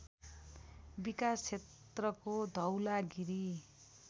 विकास क्षेत्रको धौलागिरी